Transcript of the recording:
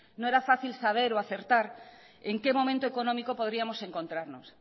no era fácil saber o acertar en qué momento económico podríamos encontrarnos